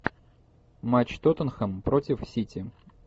матч тоттенхэм против сити